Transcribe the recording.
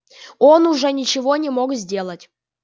он уже ничего не мог сделать